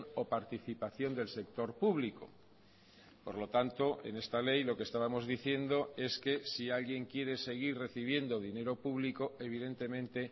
o participación del sector público por lo tanto en esta ley lo que estábamos diciendo es que si alguien quiere seguir recibiendo dinero público evidentemente